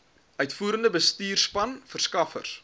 uitvoerende bestuurspan verskaffers